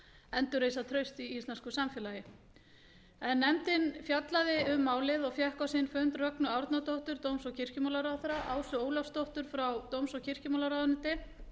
endurreisa traust í íslensku samfélagi nefndin hefur fjallað um málið og fengið á sinn fund rögnu árnadóttur dóms og kirkjumálaráðherra ásu ólafsdóttur frá dóms og kirkjumálaráðuneyti